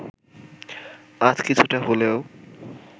আজ কিছুটা হলেও